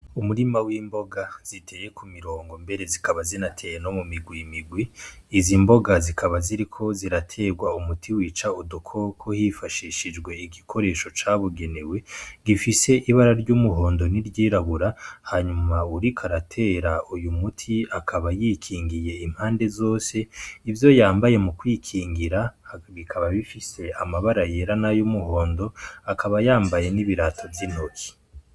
Umurima w'imboga ziteye ku mirongo mbere zikaba zinatera no mu migwi migwi izi imboga zikaba ziriko ziraterwa umuti wica udukoko hifashishijwe igikoresho cabugenewe gifise ibara ry'umuhondo ni ryirabura hanyuma uriko aratera uyu muti akaba yikingiye impande zose ivyo yambaye mu kwikingira bikaba bifise amabara yera n'ayo umuhondo akaba yambaye n'ibirato vy'intoki.